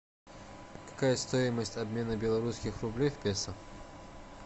какая стоимость обмена белорусских рублей в песо